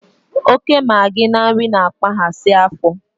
oke magi na nri, na-akpaghasị afọ